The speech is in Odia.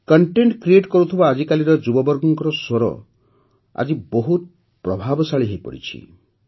କଣ୍ଟେଣ୍ଟ କ୍ରିଏଟ୍ କରୁଥିବା ଆଜିକାଲିର ଯୁବବର୍ଗଙ୍କର ସ୍ୱର ଆଜି ବହୁତ ପ୍ରଭାବଶାଳୀ ହୋଇପଡ଼ିଛି